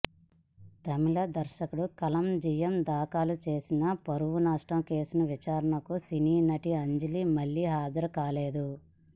తమిళ దర్శకుడు కళంజియం దాఖలు చేసి పరువు నష్టం కేసు విచారణకు సినీ నటి అంజలి మళ్లీ హాజరు కాలేదు